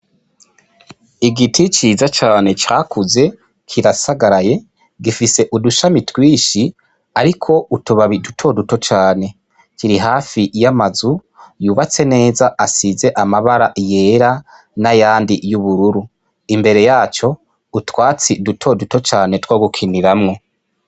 Igiti ciza cane cakuze kirasagaraye gifise udushami twinshi hariko utubabi duto duto cane, kiri hafi y'amazu yubatse neza asize amabara yera n'ayandi y'ubururu, imbere yaco utwatsi duto duto cane two gukiniramwo.